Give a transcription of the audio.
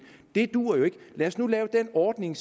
det duer jo ikke lad os nu lave den ordning